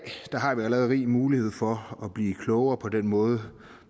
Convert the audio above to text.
har vi allerede rig mulighed for at blive klogere på den måde